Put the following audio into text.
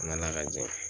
N nana ka ja